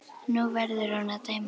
Nú verður hún að dæma.